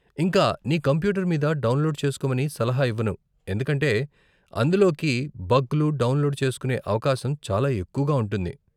ఇంకా నీ కంప్యూటర్ మీద డౌన్లోడ్ చేసుకోమని సలహా ఇవ్వను, ఎందుకంటే అందులోకి బగ్లు డౌన్లోడ్ చేసుకునే అవకాశం చాలా ఎక్కువగా ఉంటుంది.